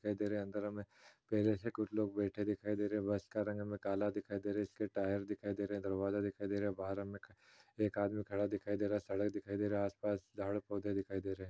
दिखाई दे रहे है अंदर हमें पहले से कुछ लोग बैठे दिखाई दे रहे है। बस का रंग हमें काला दिखाई दे रहा है। इसके टायर दिखाई दे रहे है। दरवाजा दिखाई दे रहा है। बाहर हमे एक आदमी खड़ा दिखाई दे रहा है। सड़क दिखाई दे रहा हैं। आस पास झाड़ पौधे दिखाई दे रहे है।